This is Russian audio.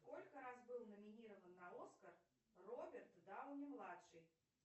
сколько раз был номинирован на оскар роберт дауни младший